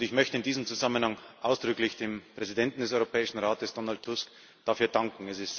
Ich möchte in diesem Zusammenhang ausdrücklich dem Präsidenten des Europäischen Rates, Donald Tusk, dafür danken.